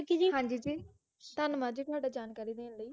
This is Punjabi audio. ਹਾਂ ਜੀ ਜੀ ਧੰਨਵਾਦ ਜੀ ਤੁਹਾਡਾ ਜਾਣਕਾਰੀ ਦੇਣ ਲਈ